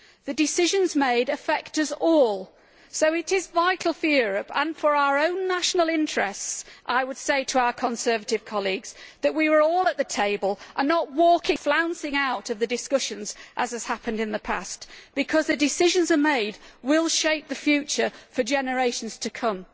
The decisions made affect us all, so it is vital for Europe and for our own national interests. I would say to our Conservative colleagues that we should all be at the table and not flouncing out of discussions, as has happened in the past, because the decisions that are made will shape the future for generations to come.